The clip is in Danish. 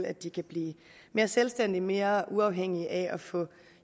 at de kan blive mere selvstændige og mere uafhængige af at få